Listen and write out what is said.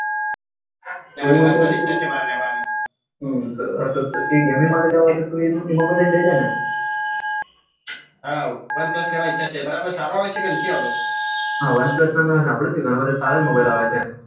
હમ gaming માટે લેછે તો એ જ mobile લઈલે હા વન પલ્સ લેવા ની ઈચ્છા છે સારો આવે છે કે નથી આવતો હા વન પલ્સ નું સંભ્લુય છે ઘણા બઘા સારા mobile આવે છે